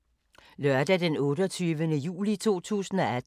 Lørdag d. 28. juli 2018